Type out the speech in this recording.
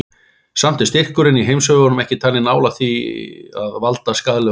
Samt er styrkurinn í heimshöfunum ekki talinn nálægt því að valda skaðlegum áhrifum.